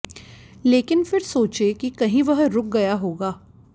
लेकिन फिर सोचे की कहीं वह रुक गया होगा